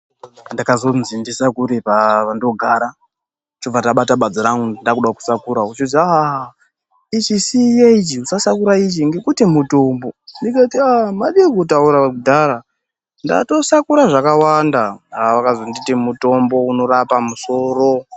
Ndakazonzi ndisakure pandogara chobva ndabata badza rangu ndakuda kusakura kochozi ichi Siya ichi usasakura ichi ngokuti mutombo ndikati madii kutaura kudhara nekuti ndatosakura zvakawanda. Vakazonditi mutombo unorapa musoro.